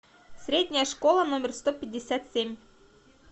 средняя школа номер сто пятьдесят семь